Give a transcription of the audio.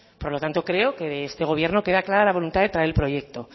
por lo tanto creo que este gobierno queda clara la voluntad de traer el proyecto